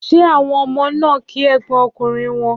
Ṣé àwọn ọmọ náà kí ẹ̀gbọ́n ọkùnrin wọn?